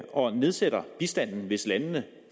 og nedsætter bistanden hvis landene